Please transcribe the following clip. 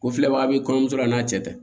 Ko filɛbaga ye kɔɲɔmuso la a n'a cɛ tɛ